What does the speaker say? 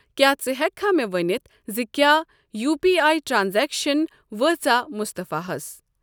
کیٛاہ ژٕ ہٮ۪کہٕ مےٚ ؤنِتھ زِ کیٛاہ یو پی آٮٔی ٹرانزیکشن وٲژاہ مُصطفیٰ ہَس؟